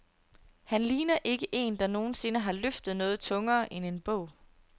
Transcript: Han ligner ikke en, der nogen sinde har løftet noget tungere end en bog.